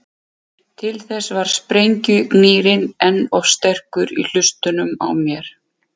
Til þess var sprengjugnýrinn enn of sterkur í hlustunum á mér.